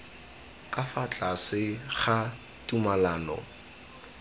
ka fa tlase ga tumalano